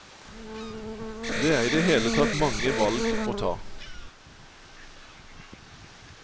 Det er i det hele tatt mange valg å ta.